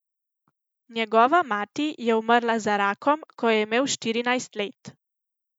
Njegova mati je umrla za rakom, ko je imel štirinajst let.